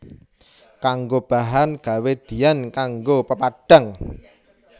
Kanggo bahan gawé diyan kanggo pepadhang